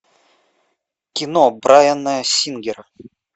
кино брайана сингера